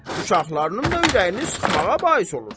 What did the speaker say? Uşaqlarının da ürəyini sıxmağa bais olursan.